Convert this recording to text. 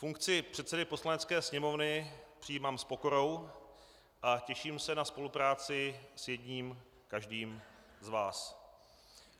Funkci předsedy Poslanecké sněmovny přijímám s pokorou a těším se na spolupráci s jedním každým z vás.